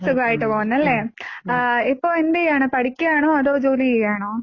സുഖായിട്ട് പോകുന്നു അല്ലേ? ഇപ്പൊ എന്ത് ചെയ്യാണ്? പഠിക്കാണോ അതോ ജോലി ചെയ്യാണോ?